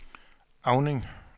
Auning